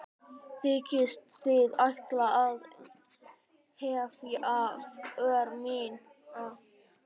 Þykist þið ætla að hefta för mína?